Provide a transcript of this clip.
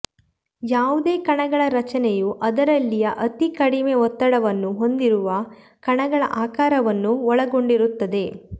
ಯಾವುದೇ ಕಣಗಳ ರಚನೆಯು ಅದರಲ್ಲಿಯ ಅತೀ ಕಡಿಮೆ ಒತ್ತಡವನ್ನು ಹೊಂದಿರುವ ಕಣಗಳ ಆಕಾರವನ್ನು ಒಳಗೊಂಡಿರುತ್ತದೆ